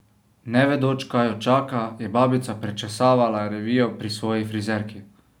Ne vedoč, kaj jo čaka, je babica prečesavala revijo pri svoji frizerki.